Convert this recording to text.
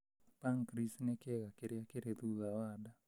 Pancreas nĩ kĩĩga kĩrĩa kĩrĩ thutha wa nda.